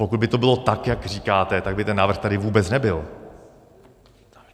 Pokud by to bylo tak, jak říkáte, tak by ten návrh tady vůbec nebyl.